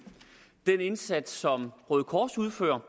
den indsats som røde kors udfører